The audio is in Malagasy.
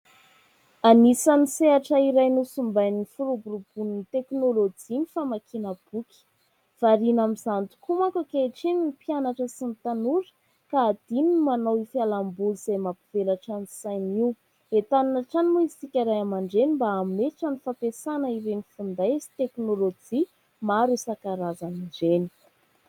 Anisan'ny sehatra iray nosimbain'ny firoborobon'ny teknôlôjia ny famakiana boky. Variana amin'izany tokoa mantsy ankehitriny ny mpianatra sy ny tanora ka hadino ny manao ho fialamboly izay mampivelatra ny saina io. Entanina hatrany moa isika ray aman-dreny mba hametra ny fampiasana ireny finday sy teknôlôjia maro isan-karazany ireny.